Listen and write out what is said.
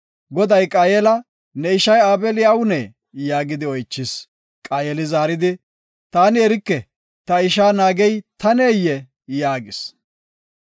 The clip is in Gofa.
Goday Qaayela, “Ne ishay Aabeli awunee?” yaagidi oychis. Qaayeli zaaridi, “Taani erike; ta isha naagey taneyee?” yaagis.